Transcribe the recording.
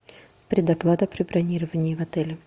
предоплата при бронировании в отеле